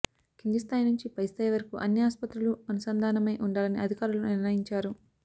కిందిస్థాయి నుంచి పైస్థాయి వరకూ అన్ని ఆస్పత్రులూ అనుసంధానమై ఉండాలని అధికారులు నిర్ణయించారు